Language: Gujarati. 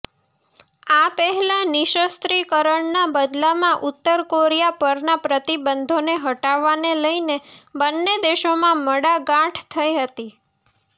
આ પહેલા નિશસ્ત્રીકરણના બદલામાં ઉત્તર કોરિયા પરના પ્રતિબંધોને હટાવવાને લઈને બંને દેશોમાં મડાગાંઠ થઈ હતી